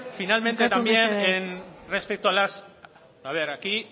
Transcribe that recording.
finalmente también respecto a las a ver aquí